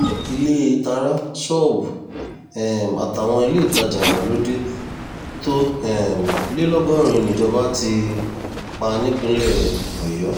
ilée tará ṣọ́ọ̀bù um àtàwọn iléetajà ìgbàlódé tó um lé lọ́gọ́rin níjọba ti pa nípínlẹ̀ ọ̀yọ́